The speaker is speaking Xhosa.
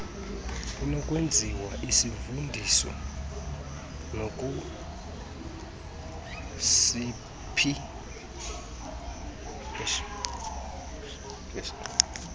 inokwenziwa isivundiso nakusiphi